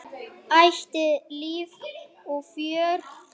Ætíð líf og fjör.